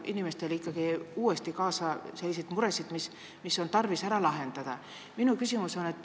See omakorda toob kaasa selliseid muresid, mis on tarvis ära lahendada.